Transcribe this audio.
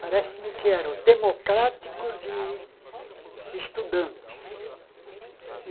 Parece-me que eram democráticos e estudantes.